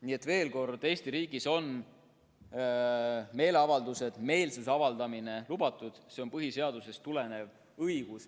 Nii et veel kord: Eesti riigis on meeleavaldused, meelsuse avaldamine lubatud, see on põhiseadusest tulenev õigus.